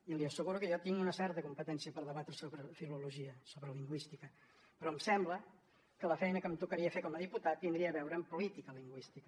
i li asseguro que jo tinc una certa competència per debatre sobre filologia sobre lingüística però em sembla que la feina que em tocaria fer com a diputat tindria a veure amb política lingüística